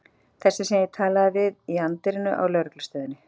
Þessi sem ég talaði við í anddyrinu á lögreglustöðinni.